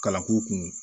Kalan k'u kun